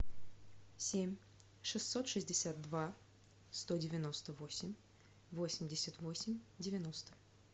семь шестьсот шестьдесят два сто девяносто восемь восемьдесят восемь девяносто